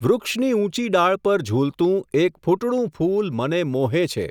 વૃક્ષની ઊંચી ડાળ ઉપર ઝૂલતું, એક ફૂટડું ફૂલ મને મોહે છે.